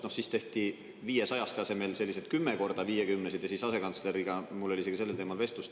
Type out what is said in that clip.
Noh, siis tehti 500-ste tasemel sellised 10 korda 50-sed ja siis asekantsleriga mul oli isegi sellel teemal vestlus.